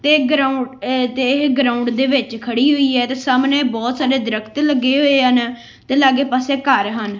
ਤੇ ਗਰਾਊਂਡ ਇਹ ਤੇ ਇਹ ਗਰਾਉਂਡ ਦੇ ਵਿੱਚ ਖੜੀ ਹੋਈ ਐ ਤੇ ਸਾਹਮਣੇ ਬਹੁਤ ਸਾਰੇ ਦਰਖਤ ਲੱਗੇ ਹੋਏ ਹਨ ਤੇ ਲਾਗੇ ਪਾਸੇ ਘਰ ਹਨ।